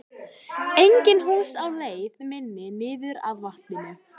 Engin hús á leið minni niður að vatninu.